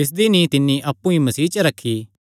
जिसदी नीई तिन्नी अप्पु ई मसीह च रखी